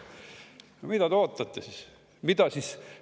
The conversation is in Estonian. No mida te siis ootate?